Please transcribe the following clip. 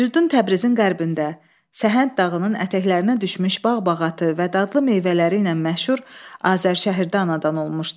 Firidun Təbrizin qərbində, Səhənd dağının ətəklərinə düşmüş bağ-bağatı və dadlı meyvələri ilə məşhur Azərşəhərdə anadan olmuşdu.